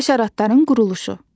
Həşəratların quruluşu.